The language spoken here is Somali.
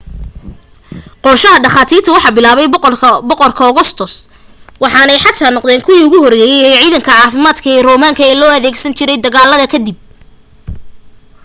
qorashada dhakhaatiirta waxa bilaabay boqor augustus waxaanay xataa noqdeen kuwii ugu horeeyay ee ciidanka caafimaad ee roomaanka ee la adeegsan jiray dagaalada ka dib